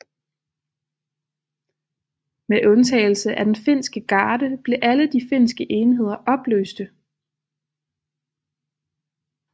Med undtagelse af den finske garde blev alle de finske enheder opløste